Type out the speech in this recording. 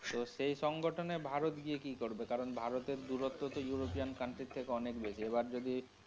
তো সেই সংগঠনে ভারত গিয়ে কি করবে কারণ ভারতের দূরত্ব তো ইউরোপিয়ান country এর থেকে অনেক বেশি। এবার যদি.